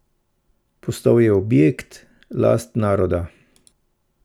Postal je objekt, last naroda.